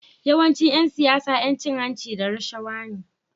Yawancin Yan siyara Yan cin hanci da rashawa ne